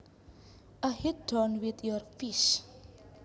A hit done with your fist